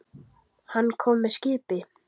Hann kom með skipi.